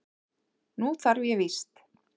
Nú þarf ég víst.